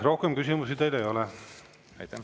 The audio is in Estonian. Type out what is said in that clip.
Rohkem küsimusi teile ei ole.